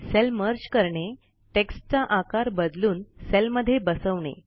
sale merge करणे टेक्स्टचा आकार बदलून सेलमध्ये बसवणे